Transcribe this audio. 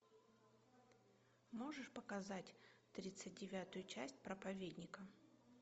можешь показать тридцать девятую часть проповедника